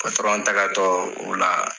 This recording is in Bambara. patɔrɔn tagatɔ ola